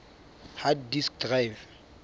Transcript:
hard disk drive